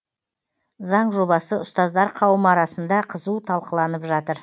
заң жобасы ұстаздар қауымы арасында қызу талқыланып жатыр